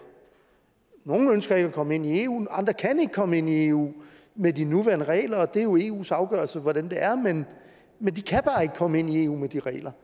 nogle ønsker ikke at komme ind i eu andre kan ikke komme ind i eu med de nuværende regler det er jo eus afgørelse hvordan det er men men de kan bare ikke komme ind i eu med de regler